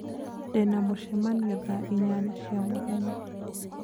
Ndĩ na mũcemanio thaa inyanya cia mũthenya